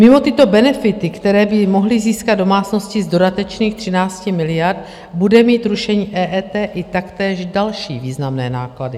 Mimo tyto benefity, které by mohly získat domácnosti z dodatečných 13 miliard, bude mít rušení EET i taktéž další významné náklady.